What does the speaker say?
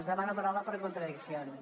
demano la paraula per contradiccions